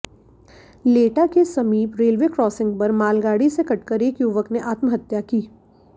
लेटा के समीप रेलवे क्रॉसिंग पर मालगाड़ी से कटकर एक युवक ने आत्महत्या की